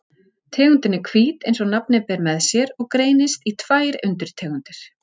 Tegundin er hvít eins og nafnið ber með sér og greinist í tvær undirtegundir.